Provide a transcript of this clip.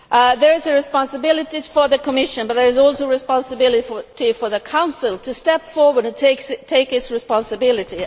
There is a responsibility for the Commission, but there is also a responsibility for the Council to step forward and take its responsibility.